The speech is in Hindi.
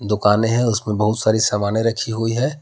दुकानें हैं उसमें बहुत सारी समाने रखी हुई है।